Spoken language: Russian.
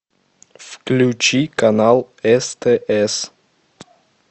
включи канал стс